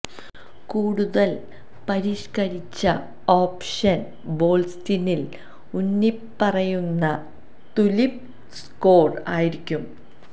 കൂടുതൽ പരിഷ്കരിച്ച ഓപ്ഷൻ വോൾസ്റ്റിനിൽ ഊന്നിപ്പറയുന്ന തുലിപ് സ്കോർ ആയിരിക്കും